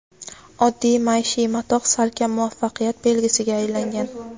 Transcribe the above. Oddiy maishiy matoh salkam muvaffaqiyat belgisiga aylangan.